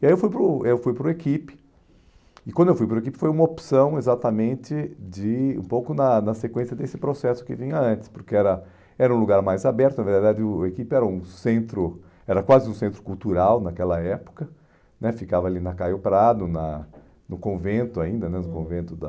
E aí eu fui para o eu fui para o Equipe, e quando eu fui para o Equipe foi uma opção exatamente de, um pouco na na sequência desse processo que vinha antes, porque era era um lugar mais aberto, na verdade o Equipe era um centro, era quase um centro cultural naquela época né, ficava ali na Caio Prado, na no convento ainda né, uhum, no convento da...